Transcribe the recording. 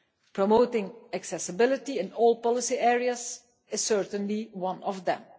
Promoting accessibility in all policy areas is certainly one of them.